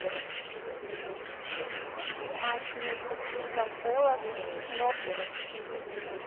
матч между кристал пэлас и норвич сити